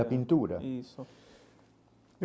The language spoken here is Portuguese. A pintura? Isso.